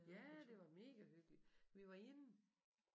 Ja det var mega hyggeligt vi var inde